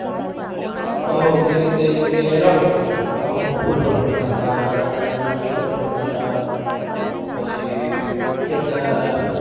હઉ હઉ ની રીતે ઈ કે રમો તમાર તો અમુક football રમતા હતા જાણે અમુક ક્રિકેટ રમતા હતા પછી કેટલા